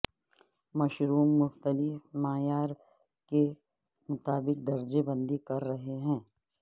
mushroom مختلف معیار کے مطابق درجہ بندی کر رہے ہیں